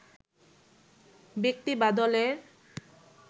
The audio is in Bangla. ব্যক্তি বা দলের